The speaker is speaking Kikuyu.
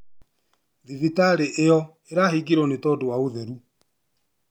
Thibitari ĩo ĩrahingirwo nĩ tondu wa ũtheru